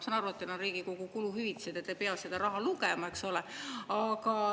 Ma saan aru, et teil on Riigikogu kuluhüvitised ja te ei pea seda raha lugema, eks ole.